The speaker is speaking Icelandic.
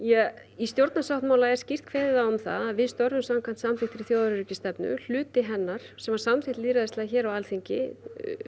í stjórnarsáttmála er skýrt kveðið á um það að við störfum samkvæmt samþykktri þjóðaröryggisstefnu hluti hennar sem var samþykkt lýðræðislega hér á Alþingi